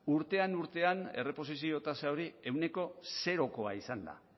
urtean urtean erreposizio tasa hori ehuneko zerokoa izan da